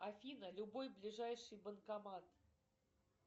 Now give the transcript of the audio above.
афина любой ближайший банкомат